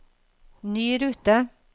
ny rute